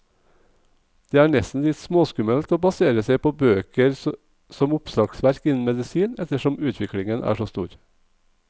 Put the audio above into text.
Det er nesten litt småskummelt å basere seg på bøker som oppslagsverk innen medisin, ettersom utviklingen er så stor.